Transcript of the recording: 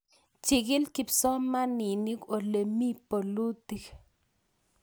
chikili kipsomaninik ole mi bolutik